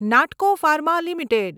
નાટકો farm limited